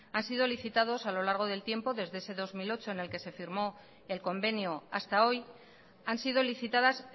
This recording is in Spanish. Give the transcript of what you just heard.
han sido licitados a lo largo del tiempo desde ese dos mil ocho en el que se firmó el convenio hasta hoy han sido licitadas